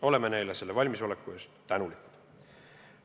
Oleme neile selle valmisoleku eest tänulikud.